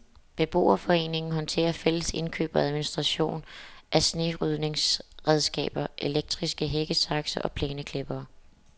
Beboerforeningen håndterer fælles indkøb og administration af snerydningsredskaber, elektriske hækkesakse og plæneklippere.